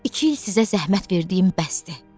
iki il sizə zəhmət verdiyim bəsdir.